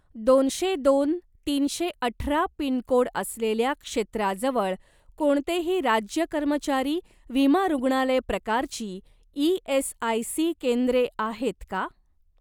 दोनशे दोन तीनशे अठरा पिनकोड असलेल्या क्षेत्राजवळ कोणतेही राज्य कर्मचारी विमा रुग्णालय प्रकारची ई.एस.आय.सी. केंद्रे आहेत का?